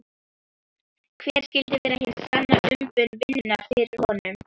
Hver skyldi vera hin sanna umbun vinnunnar fyrir honum?